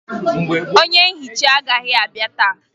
Onye nhicha agaghị abịa taa